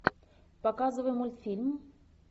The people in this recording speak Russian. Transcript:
показывай мультфильм